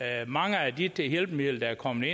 af mange af de hjælpemidler der er kommet